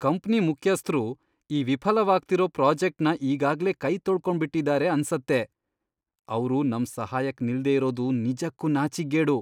Company ಮುಖ್ಯಸ್ಥ್ರು ಈ ವಿಫಲವಾಗ್ತಿರೋ ಪ್ರಾಜೆಕ್ಟ್ನ ಈಗಾಗ್ಲೇ ಕೈತೊಳ್ಕೊಂಡ್ಬಿಟಿದಾರೆ ಅನ್ಸತ್ತೆ, ಅವ್ರು ನಮ್ ಸಹಾಯಕ್ ನಿಲ್ದೇ ಇರೋದು ನಿಜಕ್ಕೂ ನಾಚಿಕ್ಗೇಡು.